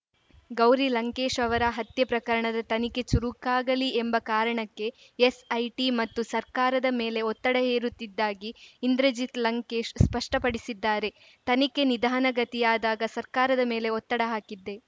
ಗೌರಿ ಲಂಕೇಶ್‌ ಅವರ ಹತ್ಯೆ ಪ್ರಕರಣದ ತನಿಖೆ ಚುರುಕಾಗಲಿ ಎಂಬ ಕಾರಣಕ್ಕೆ ಎಸ್‌ಐಟಿ ಮತ್ತು ಸರ್ಕಾರದ ಮೇಲೆ ಒತ್ತಡ ಹೇರುತ್ತಿದ್ದಾಗಿ ಇಂದ್ರಜಿತ್‌ ಲಂಕೇಶ್‌ ಸ್ಪಷ್ಟಪಡಿಸಿದ್ದಾರೆ ತನಿಖೆ ನಿಧಾನಗತಿಯಾದಾಗ ಸರ್ಕಾರದ ಮೇಲೆ ಒತ್ತಡ ಹಾಕಿದ್ದೆ